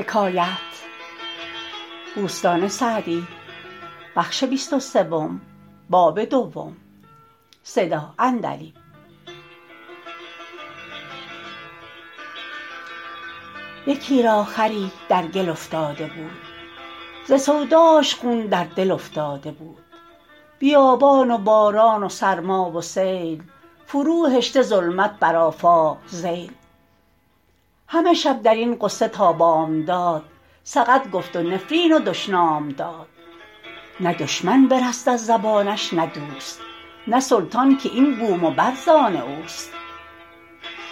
یکی را خری در گل افتاده بود ز سوداش خون در دل افتاده بود بیابان و باران و سرما و سیل فرو هشته ظلمت بر آفاق ذیل همه شب در این غصه تا بامداد سقط گفت و نفرین و دشنام داد نه دشمن برست از زبانش نه دوست نه سلطان که این بوم و بر زآن اوست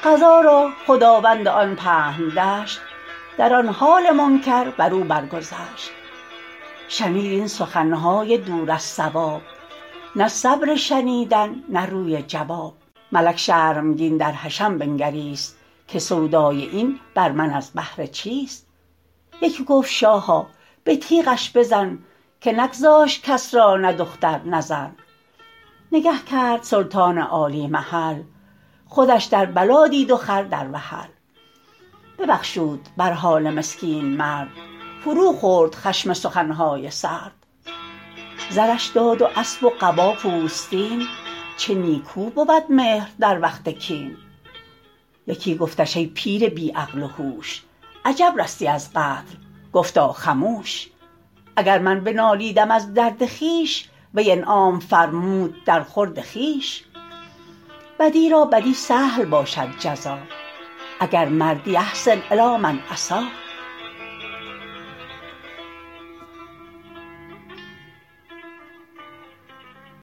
قضا را خداوند آن پهن دشت در آن حال منکر بر او بر گذشت شنید این سخن های دور از صواب نه صبر شنیدن نه روی جواب ملک شرمگین در حشم بنگریست که سودای این بر من از بهر چیست یکی گفت شاها به تیغش بزن که نگذاشت کس را نه دختر نه زن نگه کرد سلطان عالی محل خودش در بلا دید و خر در وحل ببخشود بر حال مسکین مرد فرو خورد خشم سخن های سرد زرش داد و اسب و قبا پوستین چه نیکو بود مهر در وقت کین یکی گفتش ای پیر بی عقل و هوش عجب رستی از قتل گفتا خموش اگر من بنالیدم از درد خویش وی انعام فرمود در خورد خویش بدی را بدی سهل باشد جزا اگر مردی أحسن إلی من أساء